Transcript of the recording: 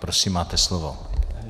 Prosím, máte slovo.